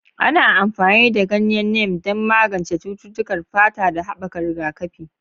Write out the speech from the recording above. Ana amfani da ganyen Neem don magance cututtukan fata da haɓaka rigakafi.